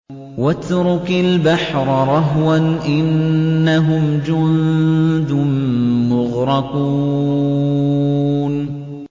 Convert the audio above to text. وَاتْرُكِ الْبَحْرَ رَهْوًا ۖ إِنَّهُمْ جُندٌ مُّغْرَقُونَ